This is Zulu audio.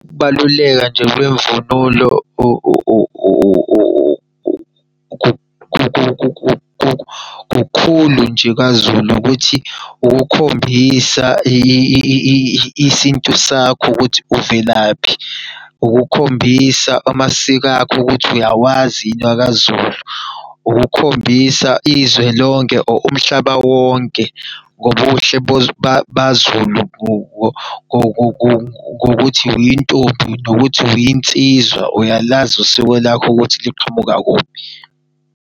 Ukubaluleka nje kwemvunulo kukhulu nje kwaZulu, ukuthi ukukhombisa isintu sakho ukuthi uvelaphi. Ukukhombisa amasiko akho ukuthi uyawazi yini akaZulu. Ukukhombisa izwe lonke or umhlaba wonke, ngobuhle baZulu, ngokuthi uyintombi, nokuthi uyinsizwa. Uyalazi usiko lakho ukuthi liqhamuka kuphi.